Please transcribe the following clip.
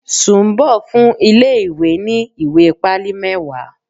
Sumbo fún ilé ìwé ní ìwé pálí mẹwa.